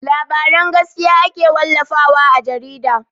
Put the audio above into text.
Labaran gaskiya ake wallafa wa a jarida.